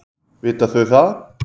Vita þau það?